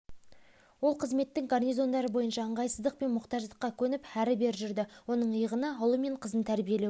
ол қызметтің гарнизондары бойынша ыңғайсыздық пен мұқтаждыққа көніп әрі-бері жүрді оның иығына ұлы мен қызын тәрбиелеу